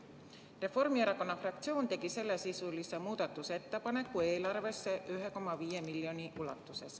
Reformierakonna fraktsioon tegi sellesisulise muudatusettepaneku, et eraldada eelarvest selleks 1,5 miljonit eurot.